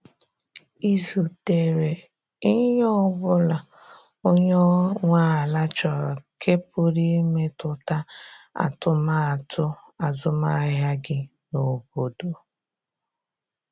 Ị zutere ihe ọbụla onye nwe ala chọrọ nke pụrụ imetụta atụmatụ azụmahịa gị n’obodo?